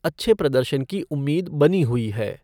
अच्छे प्रदर्शन की उम्मीद बनी हुई है।